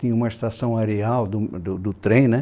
Tinha uma estação areal do do do trem, né?